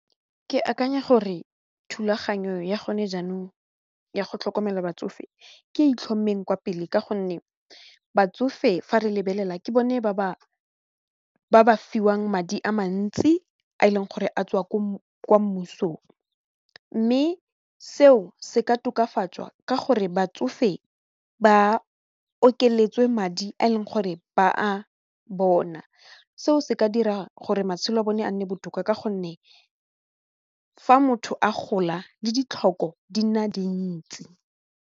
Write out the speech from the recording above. Ke akanya gore thulaganyo ya gone jaanong ya go tlhokomela batsofe ke itlhomeng kwa pele ka gonne batsofe fa re lebelela ke bone ba ba fiwang madi a mantsi a e leng gore a tswa ko mmusong mme seo se ka tokafatswa ka gore batsofe ba okeletsa madi a e leng gore ba a bona seo se ka dira gore matshelo a bone a nne botoka ka gonne fa motho a gola le ditlhoko di nna dintsi.